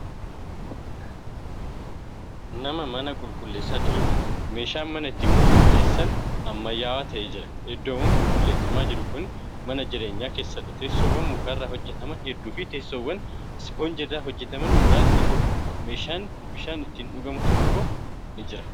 Nama mana qulqulleessaa jiruudha. meeshaan mana ittiin qulqulleessan ammaayyaawwaa ta'e Jira iddoon qulqulleeffamaa jiru Kuni mana jireenyaa keessadha. teessoowwan mukarraa hojjataman hedduuniifi teessoowwan ispoonjiirraa hajjataman muraasni jira. meeshaan bishaan ittiin dhugamu tokko ni Jira.